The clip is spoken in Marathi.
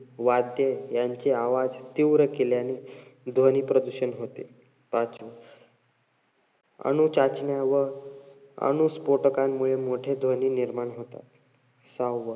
वाद्ये यांचे आवाज तीव्र केल्याने ध्वनी प्रदूषण होते. पाच, अनुचाचण्या व अणुस्फोटकांमुळे मोठे ध्वनी निर्माण होतात. सहावा,